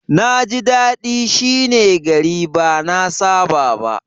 Na ji dadi shi ne gari ba na saba ba.